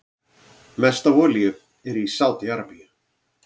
Mest af olíu er í Sádi-Arabíu.